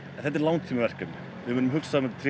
þetta er langtímaverkefni munum hugsa vel um tréð